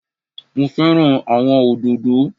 Mo fẹ́ràn àwọn òdòdó